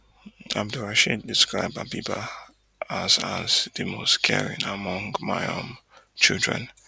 abdulrasheed describe habeebah as as di most caring among my um children